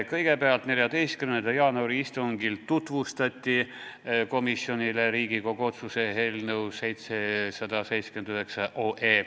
Kõigepealt, 14. jaanuari istungil tutvustati komisjonile Riigikogu otsuse eelnõu 779.